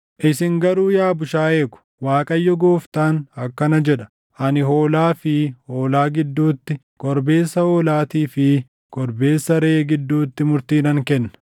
“ ‘Isin garuu yaa bushaayee ko, Waaqayyo Gooftaan akkana jedha: Ani hoolaa fi hoolaa gidduutti, korbeessa hoolaatii fi korbeessa reʼee gidduutti murtii nan kenna.